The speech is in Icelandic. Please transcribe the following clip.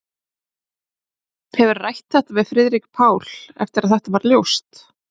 Hefurðu rætt við Friðrik Pál eftir að þetta varð ljóst?